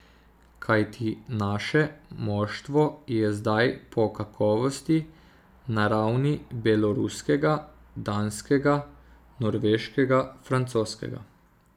Kajti naše moštvo je zdaj po kakovosti na ravni beloruskega, danskega, norveškega, francoskega.